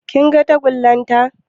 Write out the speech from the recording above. Kin ga tagulla ta?